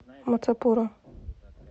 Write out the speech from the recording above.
мацапура